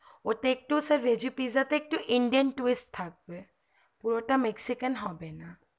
ওতে একটু veggie pizza তে একটু indian test থাকবে পুরোটা mexichem হবে না